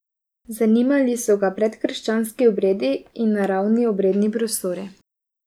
Zanimali so ga predkrščanski obredi in naravni obredni prostori.